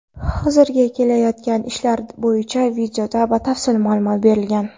Hozirda ketayotgan ishlar bo‘yicha videoda batafsil ma’lumot berilgan.